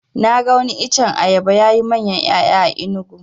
Na ga wani iccen ayaba yayi manyan ƴaya a enugu